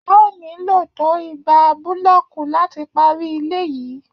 A óò nílò tó ìgbà búlọ́ọ̀kù láti parí ilé yìí